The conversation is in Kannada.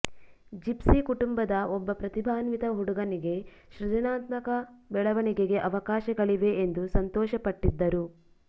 ಜಿಪ್ಸಿ ಕುಟುಂಬದ ಒಬ್ಬ ಪ್ರತಿಭಾನ್ವಿತ ಹುಡುಗನಿಗೆ ಸೃಜನಾತ್ಮಕ ಬೆಳವಣಿಗೆಗೆ ಅವಕಾಶಗಳಿವೆ ಎಂದು ಸಂತೋಷಪಟ್ಟಿದ್ದರು